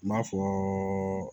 I b'a fɔ